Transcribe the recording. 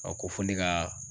A ko fo ne ka